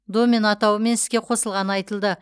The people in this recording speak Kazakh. домен атауымен іске қосылғаны айтылды